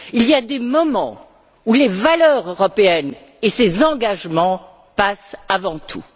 Il y a des moments où les valeurs européennes et ses engagements passent avant tout.